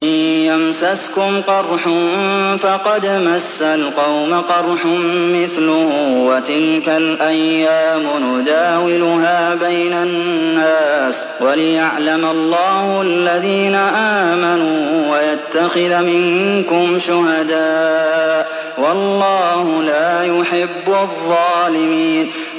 إِن يَمْسَسْكُمْ قَرْحٌ فَقَدْ مَسَّ الْقَوْمَ قَرْحٌ مِّثْلُهُ ۚ وَتِلْكَ الْأَيَّامُ نُدَاوِلُهَا بَيْنَ النَّاسِ وَلِيَعْلَمَ اللَّهُ الَّذِينَ آمَنُوا وَيَتَّخِذَ مِنكُمْ شُهَدَاءَ ۗ وَاللَّهُ لَا يُحِبُّ الظَّالِمِينَ